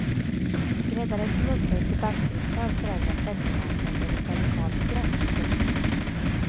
Skräddaren som upphöjs till bankdirektör förändrar penningmarknaden med ett radikalt grepp. punkt